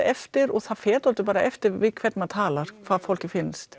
eftir og það fer dálítið eftir við hvern maður talar hvað fólki finnst